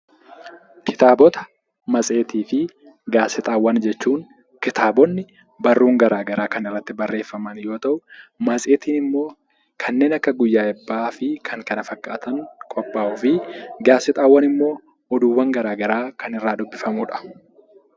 Kitaabota, matseetii fi gaazexaawwan jechuun kitaabonni barruun gara garaa kan irratti barreeffaman yoo ta'u, matseetiin immoo kanneen akka guyyaa eebbaa fi kan kana fakkaatan qophaa'uu fi gaazexaawwan immoo oduuwwan garaa garaa kan irraa dubbifamudha.